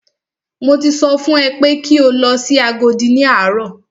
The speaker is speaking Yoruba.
Mo ti sọ fún ẹ pé kí o lọ sí Agodi ní àárọ̀!